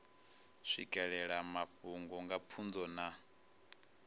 swikelela mafhungo nga pfunzo na